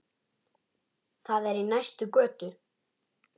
Það er í næstu götu.